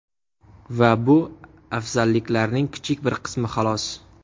Va bu afzalliklarning kichik bir qismi xolos!